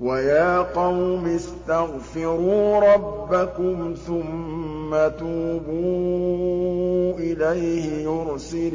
وَيَا قَوْمِ اسْتَغْفِرُوا رَبَّكُمْ ثُمَّ تُوبُوا إِلَيْهِ يُرْسِلِ